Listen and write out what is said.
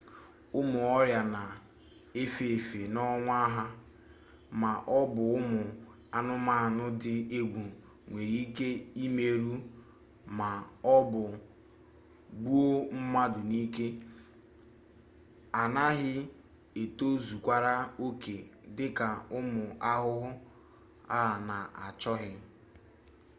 ụmụ ọrịa na-efe efe n'onwe ha ma ọ bụ ụmụ anụmanụ dị egwu nwere ike imerụ ma ọ bụ gbuo mmadụ n'ike a na-ghị etozukarị oke dị ka ụmụ ahụhụ a na-achọghị